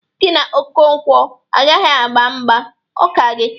Gi na Okonkwo agaghị agba mgba. Ọ ka gị!